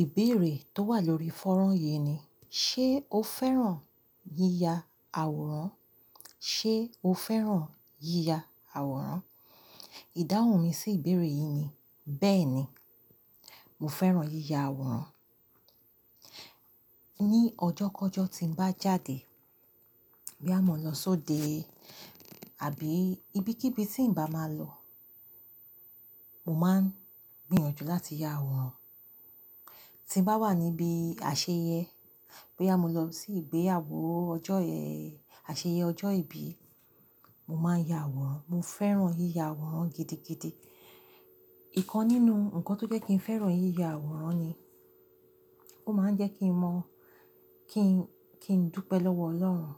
Ìbéèrè tó wà lórí fọ́rán yìí ni, ṣé o fẹ́ràn yíya àwòrán? Ṣé o fẹ́ràn yíya àwòrán? Ìdáhùn mi sí ìbéèrè yìí ni, bẹ́ẹ̀ni, mo fẹ́ràn yíya àwòrán. Ní ọjọ́ kọ́jọ́ tí ń bá jáde, bóyá mọ̀ lọ sóde, àbí ibi kí ibi tí ń bá máa lọ, mo máa ń gbìyànjú láti ya àwòrán. Tí ń bá wà níbi àṣeyẹ, bóyá mo lọ sí ìgbéyàwó ọjọ́ eyẹ́, àṣeyẹ ọjọ́ ìbí, mo máa ya àwòrán. Mo fẹ́ràn yíya àwòrán gidigidi. Ìkan nínú ǹkan tó jẹ́ kí n fẹ́ràn yíya àwòrán ni, ó máa ń jẹ́ kí n mọ̀, kí n, kí n dúpẹ́ lọ́wọ́ Ọlọ́run.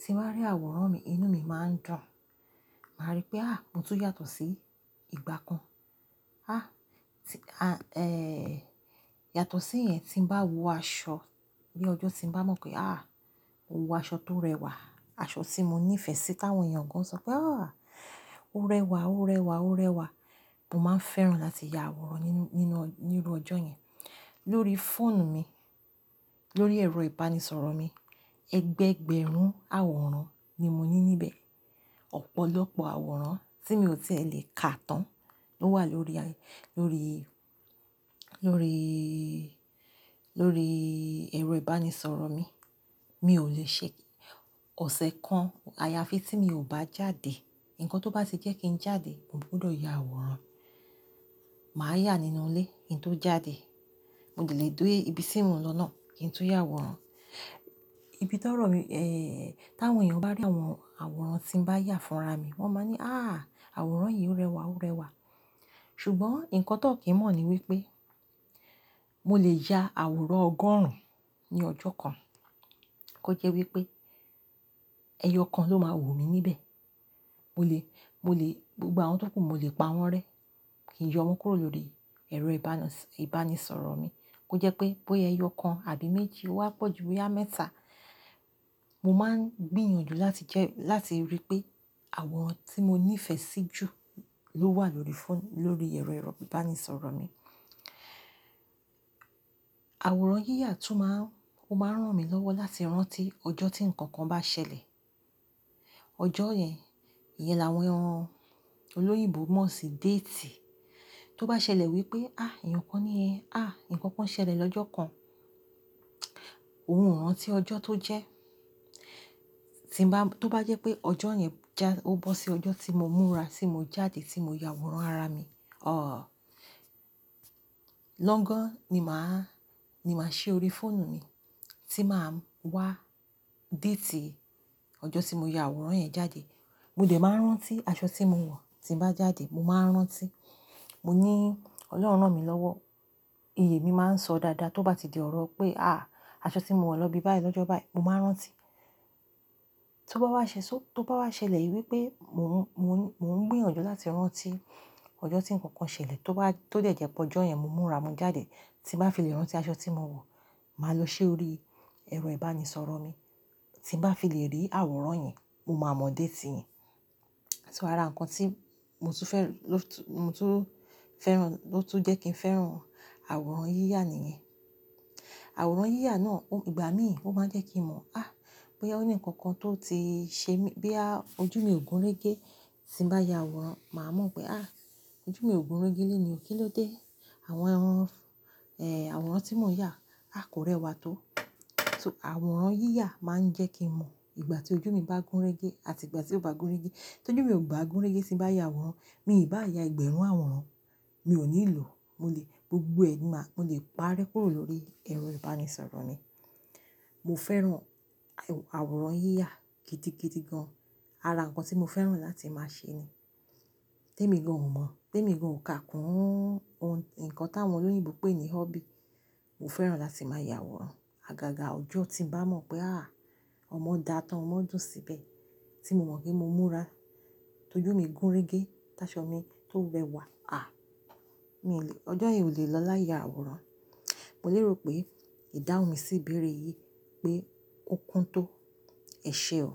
Tí ń bá rí àwòrán mi, inú mi máa ń dùn. Màá rí pé a, mo tún yàtọ̀ sí ìgbà kan. A, tí, a, eh, yàtọ̀ sí ìyẹn tí ń bá wọ aṣọ, bí ọjọ́ tí ń bá mọ̀ pé a, ó wọ aṣọ tó rẹwà, aṣọ tí mo níìfẹ̀sí táwọn èèyàn gan sọ pé "a, ó rẹwà, ó rẹwà, ó rẹwà." Mo máa ń fẹ́ràn láti ya àwòrán nínú, nínú, nínú ọjọ́ yẹn. Lórí fóònù mi, lórí ẹ̀rọ ìbánisọ̀rọ̀ mi, ẹgbẹ́gbẹ̀rún àwòrán ni mo ní níbẹ̀. Ọ̀pọ̀lọpọ̀ àwòrán tí mi ò tí e lè ka tán ló wà lórí, lórí, lóríí, lórí ẹ̀rọ ìbánisọ̀rọ̀ mi. Mi ò lè ṣe. Ọ̀sẹ̀ kan, àyàfi tí mi ò bá jáde. Ǹkan tó bá tì jẹ́ kí ń jáde, mo gbọdọ̀ ya àwòrán. Màá yà nínú ilé kí n tó jáde. Mo ò lè dé ibi tí mò ń lọ náà kí n tún ya àwòrán. Ibi tọ́rọ mi, eh, táwọn èèyàn bá rí àwọran àwòrán tí ń bá yà fúnra mi, wọ́n máa ní "a, àwòrán yìí ó rẹwà, ó rẹwà." Ṣùgbọ́n ǹkan tó n kì ń mọ̀ ni wípé mo lè ya àwòrán ọgọ́rùn-ún ní ọjọ́ kan. Kó jẹ́ wípé ẹyọ kan ló máa wù mí níbẹ̀. Mo lè, mo lè, gbogbo àwọn tó kù, mo lè pa wọ́n rẹ́. Kì í yọ wọ́n kúrò lórí ẹ̀rọ ìbánas-ìbánisọ̀rọ̀ mi. Ó jẹ́ pé bóya ẹyọ kan àbí méjì o wá pọ̀jù bóyá mẹ́ta, mo máa ń gbìyànjú láti jẹ́, láti ríi pé àwòrán tí mo níìfẹ̀sí jù ló wà lórí fóònù, lórí ẹ̀rọ, ẹ̀rọ ìbánisọ̀rọ̀ mi. Àwòrán yíya tún máa ń, ó máa ń ràn mí lọ́wọ́ láti rántí ọjọ́ tí ǹkan kan bá ṣẹlẹ̀. Ọjọ́ yẹn, ìyẹn làwọn olóyìnbo mọ̀ sí déètì. Tó bá ṣẹlẹ̀ wípé a, ǹkan níyẹn, a, ǹkan kan ṣẹlẹ̀ lọ́jọ́ kan, óhun ràn tí ọjọ́ tó jẹ́. Tí ń bá, tó bá jẹ́ pé ọjọ́ yẹn já, ó bọ́ sí ọjọ́ tí mo múra, tí mo jáde, tí mo ya àwòrán ara mi, a, lọ́gán ni màá, ni màá ṣi orí fóònù mi tí màá ń wá déètì ọjọ́ tí mo ya àwòrán yẹn jáde. Mo dẹ̀ máa ń rántí aṣọ tí mo wọ̀ tí ń bá jáde, mo máa ń rántí. Mo ní Ọlọ́run rán mi lọ́wọ́. Iyè mi máa ń sọ dáadáa. Tó bá di ọ̀rọ̀ pé a, aṣọ tí mo wọ̀ lọ ibi báyìí lọ́jọ́ báyìí, mo máa ń rántí. Tó bá wá ṣe só-- tó bá wá ṣẹlẹ̀ yìí wípé mò ń, mò ń, mò ń gbìyànjú láti rántí ọjọ́ tí ǹkan kan ṣẹlẹ̀, tó bá, tó dẹ̀ jẹ́ pé ọjọ́ yẹn mo múra, mo jáde, tí ń bá fi lè rántí aṣọ tí mo wọ̀, màá lọ ṣi orí ẹ̀rọ ìbánisọ̀rọ̀ mi. Tí ń bá fi lè rí àwòrán yẹn, mo máa mọ̀ déètì yẹn. Ara ǹkan tí mo tún fẹ́ràn, ló tún, mo tún fẹ́ràn, ló tún jẹ́ kí n fẹ́ràn àwòrán yíya nìyẹn. Àwòrán yíya náà ó, ìgbà míì ó máa ń jẹ́ kí n mọ̀, a, bóyá ó ní ǹkan kan tó ti ṣe mí, bóyá, ojú mi ò gúnrégé tí ń bá ya àwòrán, màá mọ̀ pé a, ojú mi ò gúnrégé lẹ́ni yìí kí ló dé. Màá wa mu, eh, àwòrán tí mò ń yà a kò rẹwà tó. So àwòrán yíya máa ń jẹ́ kí n mọ̀ ìgbà tí ojú mi bá gúnrégé àti ìgbà tí ò bá gúnrégé. Tójú mi ò bá gúnrégé tí ń bá ya àwòrán, mi ò bá ya ẹgbẹ̀rún àwòrán, mi ò nílò. Mo lè, gbogbo ẹnì máa, mo lè parẹ́ kúrò lórí ẹ̀rọ ìbánisọ̀rọ̀ mi. Mo fẹ́ràn àwòrán yíya kidi kidi gan. Ara ǹkan tí mo fẹ́ràn láti máa ṣe ni. Témì gan ò mọ̀, témì gan ò ká kún ohun, ǹkan táwọn olóyìnbo pé ní hobby. Mo fẹ́ràn láti máa ya àwòrán. Àgàgà ọjọ́ tí ń bá mọ̀ pé a, ọmọ dà á tán, ọmọ dùn síbẹ̀ tí mo mọ̀ pé mo múra, tójú mi gúnrégé, tá aṣọ mi tó rẹwà, a, mi ò lè, ọjọ́ yẹn ò lè lọ láya àwòrán. Mo lérò pé ìdáhùn mi sí ìbéèrè yìí pé ó kún tó. Ẹ ṣe ó.